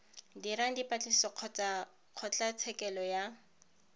dirang dipatlisiso kgotsa kgotlatshekelo ya